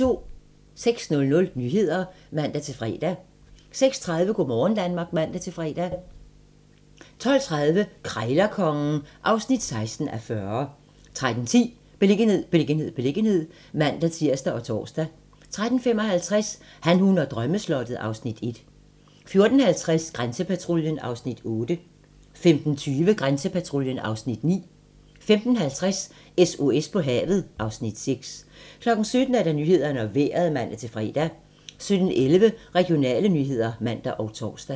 06:00: Nyhederne (man-fre) 06:30: Go' morgen Danmark (man-fre) 12:30: Krejlerkongen (16:40) 13:10: Beliggenhed, beliggenhed, beliggenhed (man-tir og tor) 13:55: Han, hun og drømmeslottet (Afs. 1) 14:50: Grænsepatruljen (Afs. 8) 15:20: Grænsepatruljen (Afs. 9) 15:50: SOS på havet (Afs. 6) 17:00: Nyhederne og Vejret (man-fre) 17:11: Regionale nyheder (man og tor)